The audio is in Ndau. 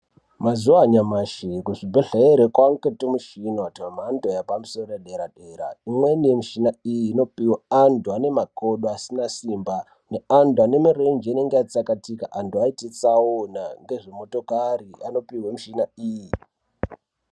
Mazuwa anyamashi kuzvibhedhlere kwaite twumishina twemhando yepamusoro yedera-dera. Imweni yamishina inopihwa antu ane makodo asina simba, neantu ane mirenje inenge yatsakatika antu aite tsaona, ngezvemotokari anopihwe mishina iyi .